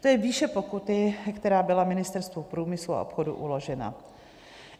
To je výše pokuty, která byla Ministerstvu průmyslu a obchodu uložena.